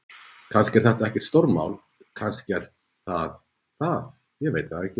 Kannski er þetta ekkert stórmál. kannski er það það, ég veit það ekki.